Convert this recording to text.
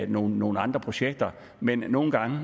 nogle nogle andre projekter men nogle gange